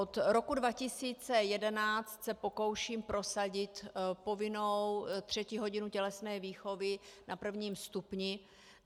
Od roku 2011 se pokouším prosadit povinnou třetí hodinu tělesné výchovy na prvním stupni.